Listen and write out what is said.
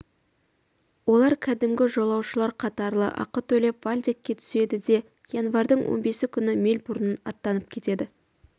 олар кәдімгі жолаушылар қатарлы ақы төлеп вальдекке түседі де январьдың он бесі күні мельбурннан аттанып кетеді